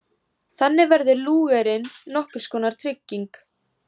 Þannig verður Lúgerinn nokkurs konar trygging.